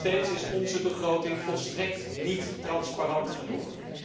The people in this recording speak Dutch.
Nog steeds is onze begroting volstrekt niet transparant genoeg.